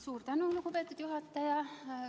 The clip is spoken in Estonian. Suur tänu, lugupeetud juhataja!